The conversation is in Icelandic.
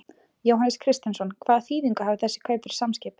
Jóhannes Kristjánsson: Hvaða þýðingu hafa þessi kaup fyrir Samskip?